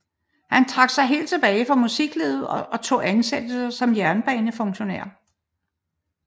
Han trak sig helt tilbage fra musiklivet og tog ansættelse som jernbanefunktionær